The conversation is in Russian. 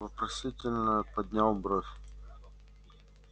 вопросительно поднял бровь